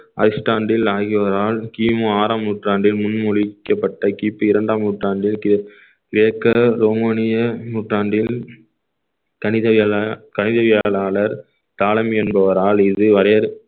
ஐஸ்டாண்டில் ஆகியோரால் கிமு ஆறாம் நூற்றாண்டில் முன்மொழிக்கப்பட்ட கிபி இரண்டாம் நூற்றாண்டில் கிரேக்~ கிரேக்க ரோமானிய நூற்றாண்டில் கணித எழு கணித வியாழாளர் என்பவரால் இது வரையறுக்~